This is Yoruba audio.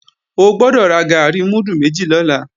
O gbọ́dọ̀ ra gàárì múdù méjì lọ́la